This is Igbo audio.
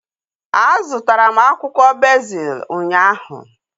A zụtara m akwụkwọ bezil ụnyaahụ